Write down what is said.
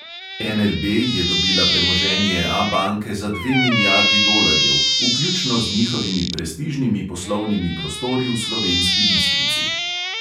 NLB je dobila premoženje abanke za dve milijardi dolarjev, vključno z njihovimi prestižnimi poslovnimi prostori v slovenski bistrici.